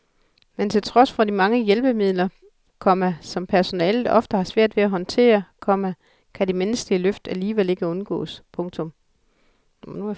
Men til trods for de mange hjælpemidler, komma som personalet ofte har svært ved at håndtere, komma kan de menneskelige løft alligevel ikke undgås. punktum